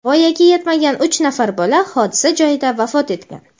Voyaga yetmagan uch nafar bola hodisa joyida vafot etgan.